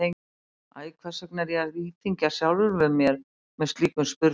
Æ, hvers vegna er ég að íþyngja sjálfum mér með slíkum spurnum?